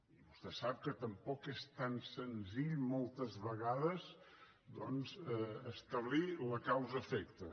i vostè sap que tampoc és tan senzill moltes vegades doncs establir la causa efecte